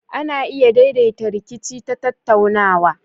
Ana iya daidaita rikici ta tattaunawa.